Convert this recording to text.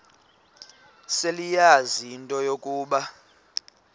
seleyazi into yokuba